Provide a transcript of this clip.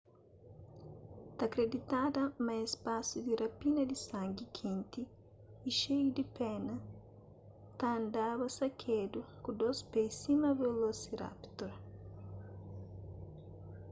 ta kriditada ma es pasu di rapina di sangi kenti y xeiu di pena ta andaba sakedu ku dôs pé sima velosirapitor